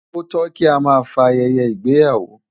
Ó tó kí a máa fa ayẹyẹ ìgbéyàwó.